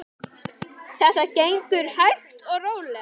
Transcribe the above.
Þetta gengur hægt og rólega.